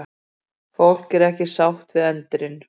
Fólk er ekki sátt við endinn